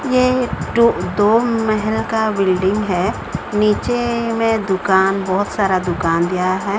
ये तो दो मेहल का बिल्डिंग हैं नीचे में दुकान बहोत सारा दुकान गया हैं।